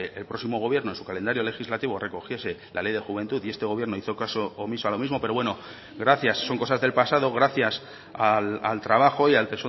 el próximo gobierno en su calendario legislativo recogiese la ley de juventud y este gobierno hizo caso omiso a lo mismo pero bueno gracias son cosas del pasado gracias al trabajo y al